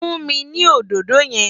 Fún mi ní òdòdó yẹn!